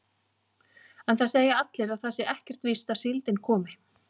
En það segja allir að það sé ekkert víst að síldin komi.